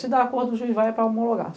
Se dá acordo, o juiz vai para homologar.